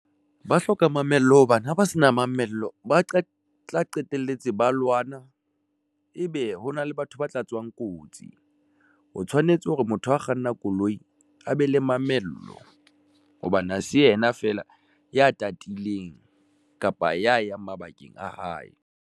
Ba hloka mamello hobane ha ba se na mamello, ba tla qetelletse ba lwana, ebe hona le batho ba tla tswang Kotsi Ho tshwanetse hore motho a kganna koloi, a be le mamello, hobane ha se yena feela ya tatileng kapa ya yang mabakeng a hae.